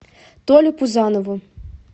толе пузанову